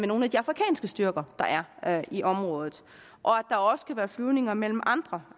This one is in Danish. nogle af de afrikanske styrker der er i området og at der også kan være flyvninger mellem andre